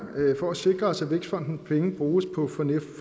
for at sikre os at vækstfondens penge bruges på